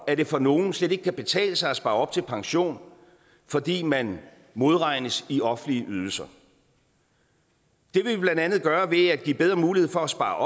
at det for nogle slet ikke kan betale sig at spare op til pension fordi man modregnes i offentlige ydelser det vil vi blandt andet gøre ved at give bedre mulighed for at spare